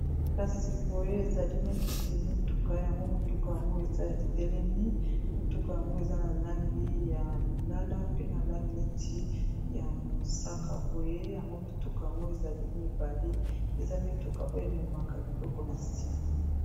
Kasi boye, ezali neti motuka. Motuka yango eza etelemi. Eza na langi ya lilala, pe na langi neti ya mosaka. Boye yango, mituka yango ezali mibale ; eza mituka oyo ememaka biloko na nsima.